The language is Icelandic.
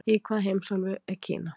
Í hvaða heimsálfu er Kína?